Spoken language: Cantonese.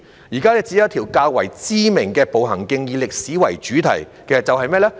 現時只有一條較知名的步行徑以歷史為主題，是甚麼呢？